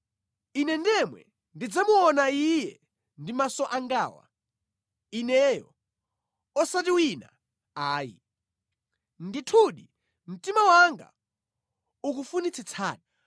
Ine ndemwe ndidzamuona Iye ndi maso angawa, ineyo, osati wina ayi. Ndithu mtima wanga ukufunitsitsadi!